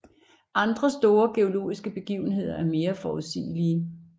Andre store geologiske begivenheder er mere forudsigelige